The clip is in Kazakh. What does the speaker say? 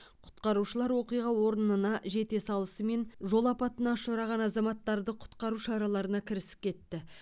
құтқарушылар оқиға орнына жете салысымен жол апатына ұшыраған азаматтарды құтқару шараларына кірісіп кетті